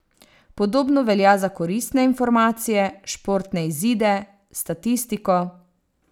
Podobno velja za koristne informacije, športne izide, statistiko ...